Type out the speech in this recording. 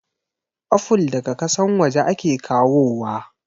Afol daga kasan waje ake kawo wa